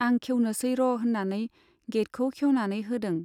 आं खेवनोसै र होन्नानै गेइटखौ खेउनानै होदों।